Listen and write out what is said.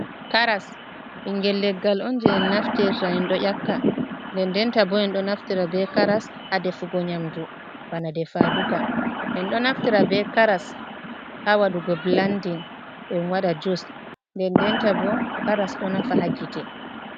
Karas ɓinngel leggal on jey en naftirta, en ɗo ƴakka, nden ndenta bo, en ɗo naftira be karas haa defugo nyaamndu, bana defaaduka, en ɗo naftira be karas haa waɗugo bilandin, en waɗa jus, nden ndenta bo karas ɗo nafa haa gite.